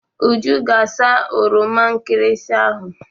Uju ga asa oroma nkịrịsị ahụ.